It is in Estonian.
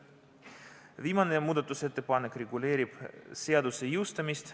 Viimane muudatusettepanek reguleerib seaduse jõustumist.